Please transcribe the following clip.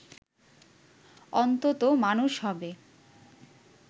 অন্তত মানুষ হবে